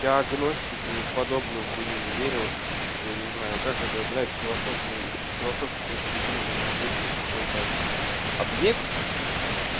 диагностика и в подобную хуйню не верю я не знаю как это блядь с философской философской точки зрения надо выдумать какой-то объект